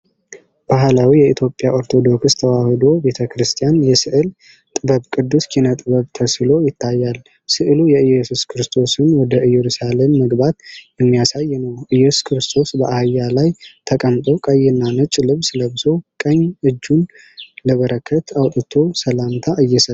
ባህላዊ የኢትዮጵያ ኦርቶዶክስ ተዋሕዶ ቤተ ክርስቲያን የስዕል ጥበብ ቅዱስ ኪነ-ጥበብ ተስሎ ይታያል። ሥዕሉ የኢየሱስ ክርስቶስን ወደ ኢየሩሳሌም መግባት የሚያሳይ ነው። ኢየሱስ ክርስቶስ በአህያ ላይ ተቀምጦ፣ ቀይና ነጭ ልብስ ለብሶ፣ ቀኝ እጁን ለበረከት አውጥቶ ሰላምታ እየሰጠ ነው።